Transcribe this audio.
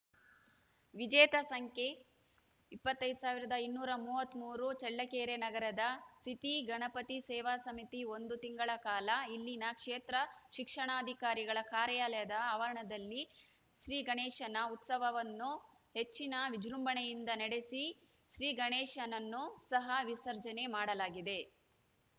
ವಿಜೇತ ಸಂಖ್ಯೆ ಇಪ್ಪತ್ತೈದ್ ಸಾವಿರದ ಇನ್ನೂರ ಮೂವತ್ತ್ ಮೂರು ಚಳ್ಳಕೆರೆ ನಗರದ ಸಿಟಿ ಗಣಪತಿ ಸೇವಾ ಸಮಿತಿ ಒಂದು ತಿಂಗಳ ಕಾಲ ಇಲ್ಲಿನ ಕ್ಷೇತ್ರ ಶಿಕ್ಷಣಾಧಿಕಾರಿಗಳ ಕಾರ್ಯಾಲಯದ ಅವರಣದಲ್ಲಿ ಶ್ರೀಗಣೇಶನ ಉತ್ಸವವನ್ನು ಹೆಚ್ಚಿನ ವಿಜೃಂಭಣೆಯಿಂದ ನಡೆಸಿ ಶ್ರೀ ಗಣೇಶನನ್ನು ಸಹ ವಿಸರ್ಜನೆ ಮಾಡಲಾಗಿದೆ